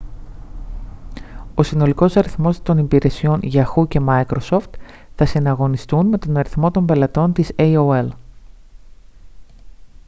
ο συνολικός αριθμός χρηστών των υπηρεσιών yahoo και microsoft θα συναγωνιστούν με τον αριθμό των πελατών της aol